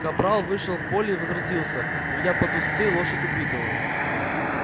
капрал вышел в поле и возвратился ведя под уздцы лошадь убитого